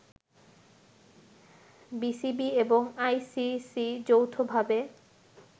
BCB এবং ICC যৌথভাবে